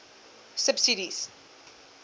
subsidies